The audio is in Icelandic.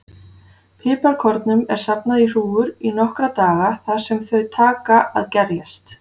Piparkornunum er safnað í hrúgur í nokkra daga þar sem þau taka að gerjast.